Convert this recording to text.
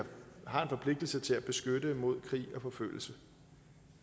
har en forpligtelse til at beskytte mod krig og forfølgelse